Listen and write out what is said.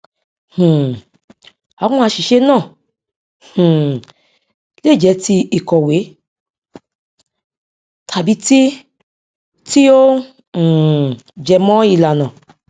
um àwọn àṣìṣe náà um lè jẹ ti ìkòwé tàbí ti ti ó um jẹmọ ìlànà